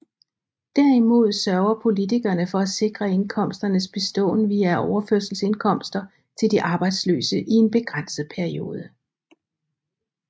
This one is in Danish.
Derimod sørger politikerne for at sikre indkomsternes beståen via overførselsindkomster til de arbejdsløse i en begrænset periode